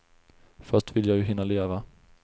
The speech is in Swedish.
Först vill jag ju hinna leva.